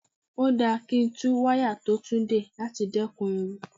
Ó dáa kí tún wáyà tó tú dè láti dẹ́kun ewu.